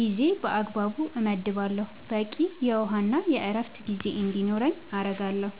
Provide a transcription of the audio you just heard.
ጊዜን በአግባቡ እመድባለሁ፣ በቂ የውሃና የዕረፍት ጊዜ እንዲኖረኝም አደርጋለሁ።